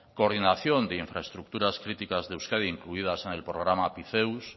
coordinación de infraestructuras críticas de euskadi incluidas en el programa apiceus